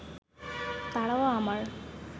তারাও আমার